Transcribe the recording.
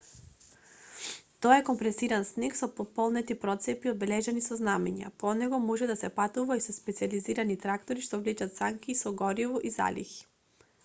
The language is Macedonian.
тоа е компресиран снег со пополнети процепи одбележани со знамиња по него може да се патува и со специјализирани трактори што влечат санки со гориво и залихи